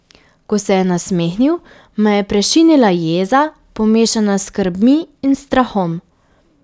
Ko se je nasmehnil, me je prešinila jeza, pomešana s skrbmi in strahom.